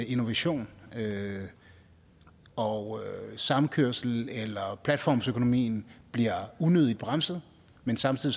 innovation og samkørsel eller platformsøkonomi bliver unødigt bremset men samtidig